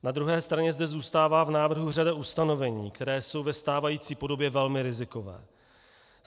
Na druhé straně zde zůstává v návrhu řada ustanovení, která jsou ve stávající podobě velmi riziková.